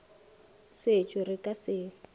setšwe re ka se ye